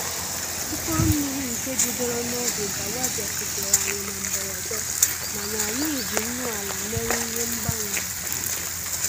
Mkpụrụ mmiri nke bidoro n'oge dawa bịakutere anyị na mberede, mana anyị ji nnu ala mere ihe mgbanwere